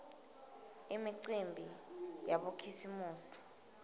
imicimbi yabokhisimusi